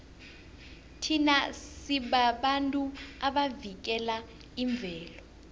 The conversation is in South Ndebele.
thina sibabantu abavikela imvelo